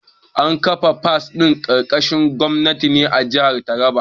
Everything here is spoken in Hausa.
An kafa pak ɗin Gashaka Gumti ne a jihar taraba